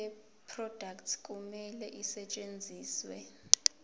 yeproduct kumele isetshenziswe